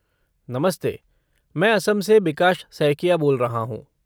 नमस्ते! मैं असम से बिकाश सैकिया बोल रहा हूँ।